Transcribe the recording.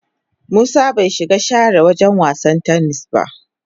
Musa bai shiga share wagen wasan "tennis" ba.